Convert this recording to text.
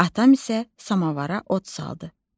Atam isə samovara od saldı.